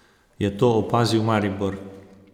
Je to opazil Maribor?